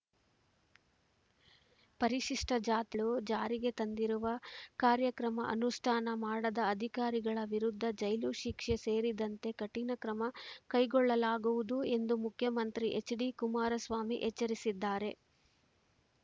ಪರಿಶಿಷ್ಟಜಾಬಲು ಜಾರಿಗೆ ತಂದಿರುವ ಕಾರ್ಯಕ್ರಮ ಅನುಷ್ಠಾನ ಮಾಡದ ಅಧಿಕಾರಿಗಳ ವಿರುದ್ಧ ಜೈಲು ಶಿಕ್ಷೆ ಸೇರಿದಂತೆ ಕಠಿಣ ಕ್ರಮ ಕೈಗೊಳ್ಳಲಾಗುವುದು ಎಂದು ಮುಖ್ಯಮಂತ್ರಿ ಎಚ್‌ಡಿ ಕುಮಾರಸ್ವಾಮಿ ಎಚ್ಚರಿಸಿದ್ದಾರೆ